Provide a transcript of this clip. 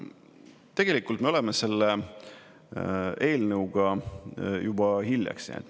Tegelikult me oleme selle eelnõuga juba hiljaks jäänud.